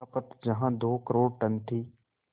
खपत जहां दो करोड़ टन थी